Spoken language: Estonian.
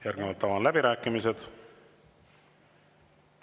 Järgnevalt avan läbirääkimised.